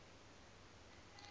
apho imdle khona